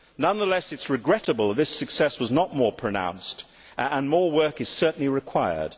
Nonetheless, it is regrettable this success was not more pronounced, and more work is certainly required.